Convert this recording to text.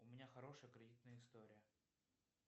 у меня хорошая кредитная история